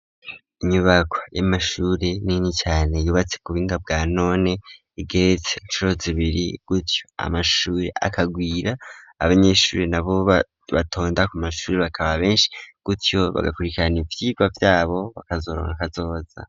Inyubako y'amashuri nini cane yubatse ku buhinga bwa none igate nshoro zibiri gutyo amashuri akagwira abanyeshuri nabo batonda ku mashuri bakaba benshi gutyo bagakurikirana ivyirwa vyabo bakazoronka kazoza.